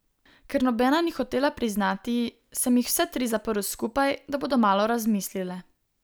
Ker nobena ni hotela priznati, sem jih vse tri zaprl skupaj, da bodo malo razmislile.